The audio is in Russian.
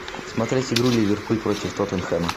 смотреть игру ливерпуль против тоттенхэма